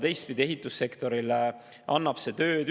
Teistpidi, ehitussektorile annab see tööd.